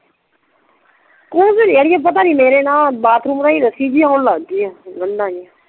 ਕੁਛ ਨਹੀਂ ਆ ਓ ਪਤਾ ਨੀ ਮੇਰੇ ਨਾ ਬਾਥਰੂਮ ਰਾਹੀਂ ਰੱਸੀ ਜੀ ਔਨ ਲਾਗ ਪਈ ਆ ਗੰਡਾ ਜੀਆ